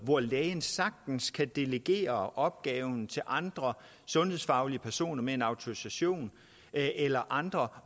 hvor lægen sagtens kan delegere opgaven ud til andre sundhedsfaglige personer med en autorisation eller andre